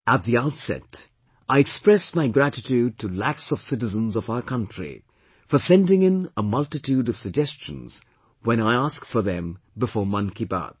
At the outset, I express my gratitude to lakhs of citizens of our country for sending in a multitude of suggestions when I ask for them before 'Mann Ki Baat'